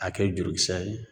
A kɛ jurukisɛ ye.